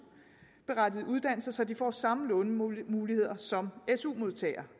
berettigede uddannelser så de får samme lånemuligheder som su modtagere